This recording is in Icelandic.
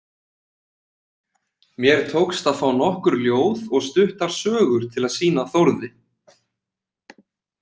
Mér tókst að fá nokkur ljóð og stuttar sögur til að sýna Þórði.